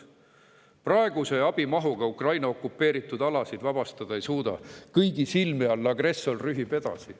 Aga praeguses mahus abiga Ukraina okupeeritud alasid vabastada ei suuda, kõigi silme all agressor rühib edasi.